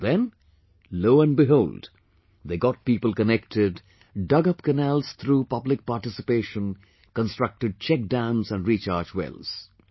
And then...lo and behold they got people connected, dug up canals through public participation, constructed check dams and rechargewells